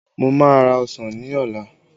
Mo má ra ọsàn ní ọ̀la